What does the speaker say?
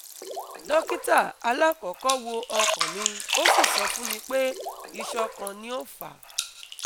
Dókítà alakọ́kọ́ wo ọkàn mi o si sọ fún mi pé isan kan ni o fa